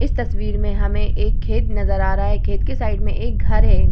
इस तस्वीर में हमे एक खेत नज़र आ रहा है खेत के साइड में एक घर है ।